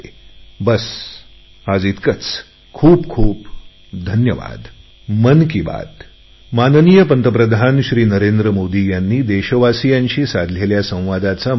बस आज इतकेच खूप खूप धन्यवाद